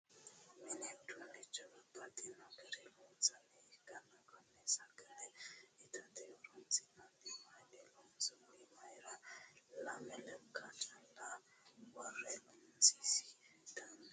Mini uduunnicho babbaxino garii loonsanniha ikkanna konne sagale itate horonsi'nanni mayiinni loonsonni? Mayiira lame lekka calla worre loonsi? Danisi kuuli hiittoho?